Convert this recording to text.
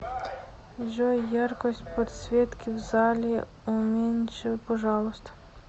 джой яркость подсветки в зале уменьши пожалуйста